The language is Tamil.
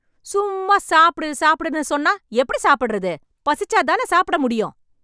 சும்ம்மா சாப்டு சாப்டுன்னு சொன்னா எப்டி சாப்டறது... பசிச்சாதான சாப்டமுடியும்..